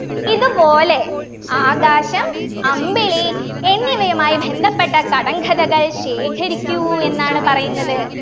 ഇതുപോലെ ആകാശം അമ്പിളി എന്നിവയുമായി ബന്ധപ്പെട്ട കടങ്കഥകൾ ശേഖരിക്കൂ എന്നാണ് പറയുന്നത്